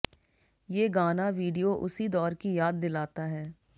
ये गाना वीडियो उसी दौर की याद दिलाता है